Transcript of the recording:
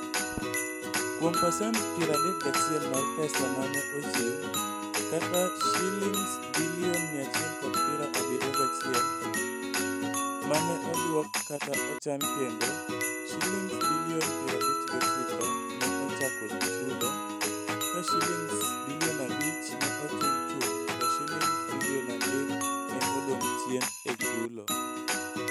Kuom pasent 31 mar pesa ma ne ochiw, kata Sh171 bilion ma ne odwok kata ochan kendo, Sh59 bilion ne ochako chulo, ka Sh5 bilion ne ochul chuth to Sh3 bilion ne odong' chien e chulo.